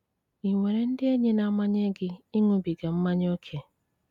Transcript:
Ị nwere ndị enyi na-amanye gị ịṅụbiga mmanya ókè?